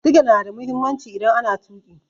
Sigina na da mahimmanci idan ana tuƙi.